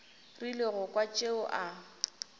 rile go kwa tšeo a